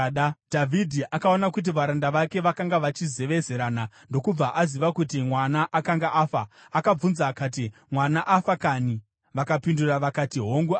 Dhavhidhi akaona kuti varanda vake vakanga vachizevezerana ndokubva aziva kuti mwana akanga afa. Akabvunza akati, “Mwana afa kanhi?” Vakapindura vakati, “Hongu afa.”